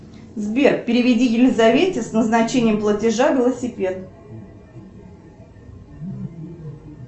сбер переведи елизавете с назначением платежа велосипед